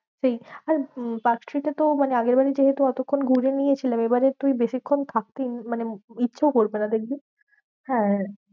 সেই আর উম পার্কস্ট্রিটে তো মানে আগের বারে যেহেতু অতক্ষণ ঘুরে নিয়েছিলাম এবারে তুই বেশিক্ষন থাকতেই মানে ইচ্ছাও করবে না দেখবি? হ্যাঁ হ্যাঁ